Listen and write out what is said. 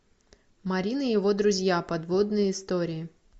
марин и его друзья подводные истории